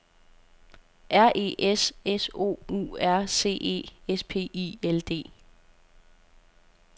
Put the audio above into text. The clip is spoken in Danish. R E S S O U R C E S P I L D